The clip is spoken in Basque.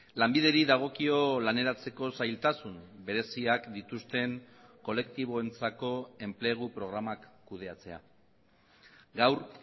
lanbideri dagokio laneratzeko zailtasun bereziak dituzten kolektiboentzako enplegu programak kudeatzea gaur